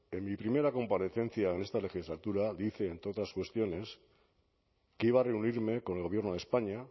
en mi primera comparecencia en esta legislatura dije entre otras cuestiones que iba a reunirme con el gobierno de españa